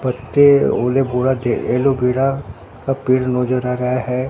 पत्ते एलोवेरा का पेड़ नजर आ रहा है।